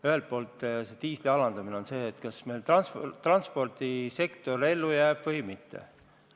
Ühelt poolt, diisliaktsiisi alandamine mõjutab seda, kas meie transpordisektor jääb ellu või mitte.